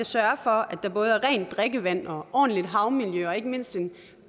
sørge for at der både er rent drikkevand og ordentligt havmiljø og ikke mindst en